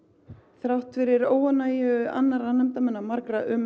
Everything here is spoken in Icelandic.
þrátt fyrir óánægju annarra nefndarmanna margra um